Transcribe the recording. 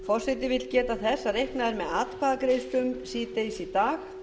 forseti vill geta þess að reiknað er með atkvæðagreiðslum síðdegis í dag